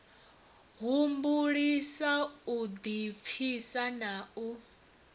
humbulisa u ḓipfisa na u